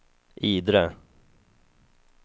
Idre